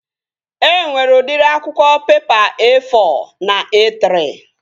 E nwere udịri akwụkwọ pepa E-fọ na E-trị